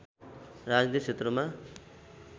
राजनीति क्षेत्रमा